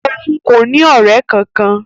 Òun kò ní ọrẹ kankan.